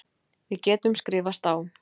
Við getum skrifast á.